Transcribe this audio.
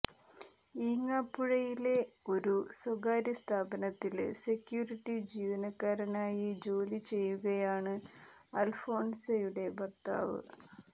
ഈങ്ങാപ്പുഴയിലെ ഒരു സ്വകാര്യ സ്ഥാപനത്തില് സെക്യൂരിറ്റി ജീവനക്കാരനായി ജോലി ചെയ്യുകയാണ് അല്ഫോന്സയുടെ ഭര്ത്താവ്